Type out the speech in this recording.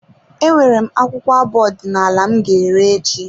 E nwere m akwụkwọ abụ ọdinala m ga ere echi.